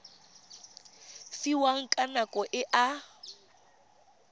fiwang ka nako e a